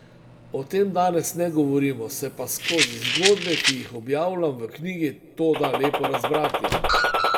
O tem danes ne govorimo, se pa skozi zgodbe, ki jih objavljam v knjigi, to da lepo razbrati.